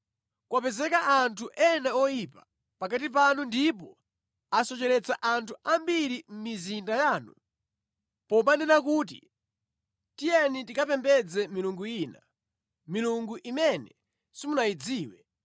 kwapezeka anthu ena oyipa pakati panu ndipo asocheretsa anthu ambiri mʼmizinda yanu, pomanena kuti, “Tiyeni tikapembedze milungu ina” (milungu imene simunayidziwe),